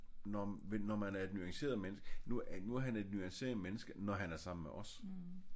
Når når man er et nuanceret menneske. Nu er han et nuanceret menneske når han er sammen med os